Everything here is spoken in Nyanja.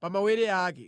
pa mawere ake.